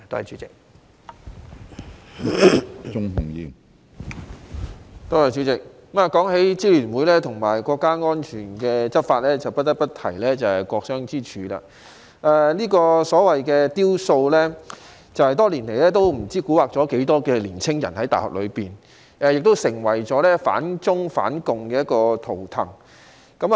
主席，談到支聯會和有關國家安全的執法，不得不提"國殤之柱"，這個所謂的"雕塑"，多年來也不知蠱惑了多少大學內的年青人，也成為反中、反共的圖騰。